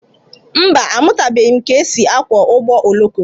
Mba, amụtabeghi m ka e si akwọ ụgbọ oloko.